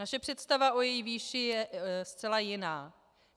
Naše představa o její výši je zcela jiná.